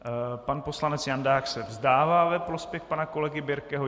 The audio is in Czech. Pan poslanec Jandák se vzdává ve prospěch pana kolegy Birkeho.